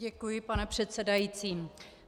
Děkuji, pane předsedající.